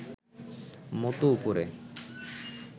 মতো উপরে